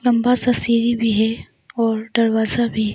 लंबा सा सीढ़ी भी है और दरवाजा भी।